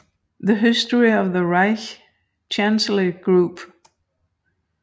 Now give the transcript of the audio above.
The History of the Reich Chancellery Group